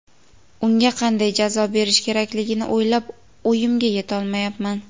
unga qanday jazo berish kerakligini o‘ylab o‘yimga yetolmayapman.